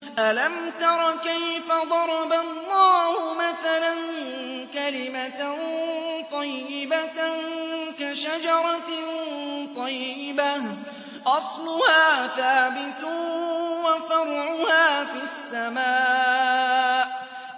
أَلَمْ تَرَ كَيْفَ ضَرَبَ اللَّهُ مَثَلًا كَلِمَةً طَيِّبَةً كَشَجَرَةٍ طَيِّبَةٍ أَصْلُهَا ثَابِتٌ وَفَرْعُهَا فِي السَّمَاءِ